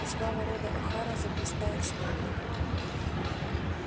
и слава рода охара заблистает снова